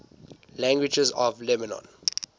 languages of lebanon